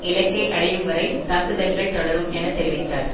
இலக்கை அடையும் வரை தாக்குதல்கள் தொடரும் என தெரிவித்தார்